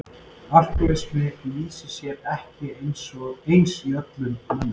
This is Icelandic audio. Alkohólismi lýsir sér ekki eins í öllum mönnum.